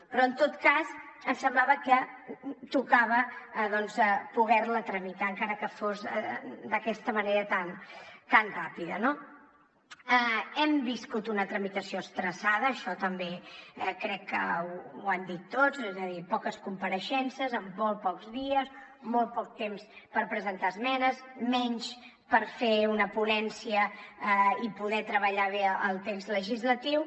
però en tot cas ens semblava que tocava doncs poder la tramitar encara que fos d’aquesta manera tan ràpida no hem viscut una tramitació estressada això també crec que ho han dit tots és a dir poques compareixences en molt pocs dies molt poc temps per presentar esmenes menys per fer una ponència i poder treballar bé el text legislatiu